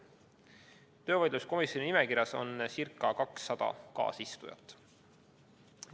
Töövaidluskomisjoni nimekirjas on ca 200 kaasistujat.